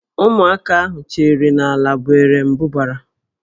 Ụmụaka ahụ cheere na Ǹlá bụ Erembụbara